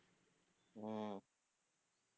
உம்